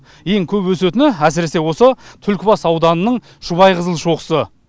ең көп өсетіні әсіресе осы түлкібас ауданының шұбайқызыл шоқысы